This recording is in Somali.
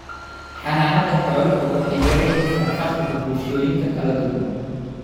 Xanaanada xooluhu waxay yaraynaysaa faqriga bulshooyinka kala duwan